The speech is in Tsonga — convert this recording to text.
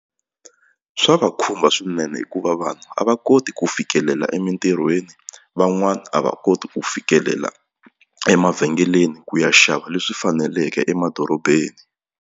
Swa va khumba swinene hikuva vanhu a va koti ku fikelela emitirhweni van'wani a va koti ku fikelela emavhengeleni ku ya xava leswi faneleke emadorobeni.